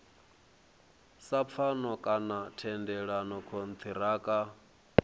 sa pfano kana thendelano kontiraka